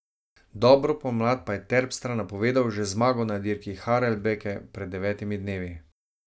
Dobro pomlad pa je Terpstra napovedal že z zmago na dirki Harelbeke pred devetimi dnevi.